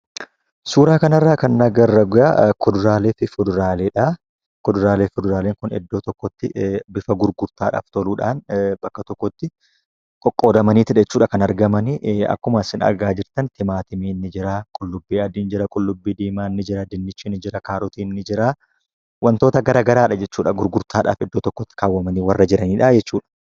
Suuraa kanarraa kan agarru egaa kuduraalee fi fuduraaleedha. Kuduraalee fi fuduraaleen kun bakka tokkotti bifa gurgurtaan ta'uudhaan bakka tokkotti qoqqoodamaniitu jechuudha kan argamu. Akkuma isin argaa jirtan timaatimiin jira, qullubbii adiin jira, qullubbii diimaan ni jira, dinnichi ni jira, kaarotiin ni jira, wantoota garaagaraadha jechuudha iddoo tokkotti qabamanii kan jiranidha jechuudha.